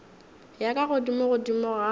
ya ka godimo godimo ga